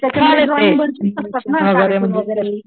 छान ते ऍनिमेशन वैगेरे म्हणजे